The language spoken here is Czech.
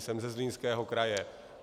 Jsem ze Zlínského kraje.